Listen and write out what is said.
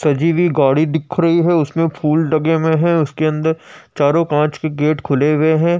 सजी हुई गाड़ी दिख रही है। उसमे फूल लगे हुए हैं। उसके अंदर चारों कांच के गेट खुले हुए हैं।